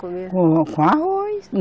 Comia. Com, com arroz